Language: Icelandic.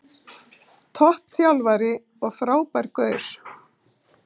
Topp þjálfari og frábær gaur.